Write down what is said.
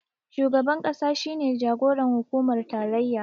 Shugaban ƙasa shi ne jagoran hukumar tarayya